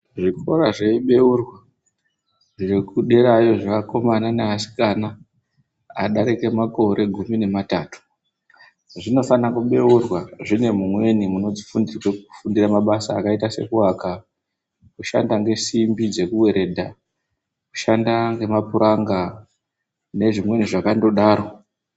Zvikora zveibeurwa zvekuderayo zveakomana neasikana adarika makore gumi nematatu zvinofanira kubeurwa zvine mumweni munofundirwe kufundira mabasa akaita sokuaka, kushanda ngesimbi dzekuweredha, kushanda ngemapuranga nezvimweni zvakandodaro.